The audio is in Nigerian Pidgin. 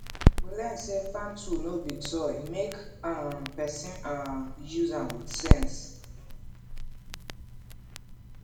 we learn say farm tool no be toy make um person um use am with sense